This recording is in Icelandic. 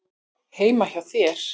Heima hjá þér?